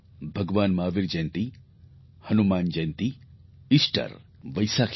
ભગવાન મહાવીર જયંતી હનુમાન જયંતી ઇસ્ટર વૈસાખી